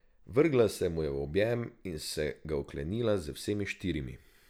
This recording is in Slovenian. Vrgla se mu je v objem in se ga oklenila z vsemi štirimi.